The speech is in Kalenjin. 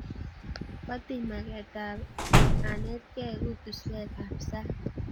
Kwatiny maget ap anetkei kutuswek ap sang'.